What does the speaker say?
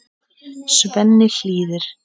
Svenni hlýðir.